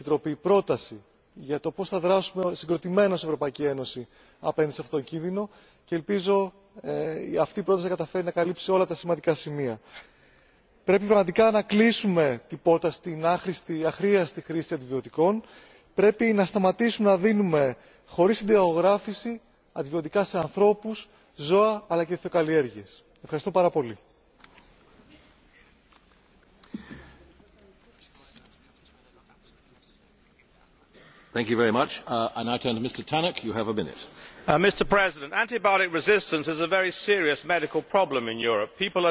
haben. Das Dritte sind dann aber auch Tierzucht und Tiermedizin. Es gibt diese Verbindung. Wir haben uns bei ECDC nochmals vergewissert. Sie ist nicht das Hauptproblem, sie betrifft nicht alle Keime. Aber sie ist da, und deswegen müssen wir sie sehr sorgfältig beobachten. Das Vierte ist, dass wir die Industrie ermutigen, dabei aber auch über neue, innovative Regeln dafür nachdenken müssen, wie wir neue Antibiotika auf den Markt bringen können. Denn wir haben ja in der Industrie das Dilemma, dass sie eine halbe Milliarde Euro in die Entwicklung eines neuen Antibiotikums investiert, und dann sagen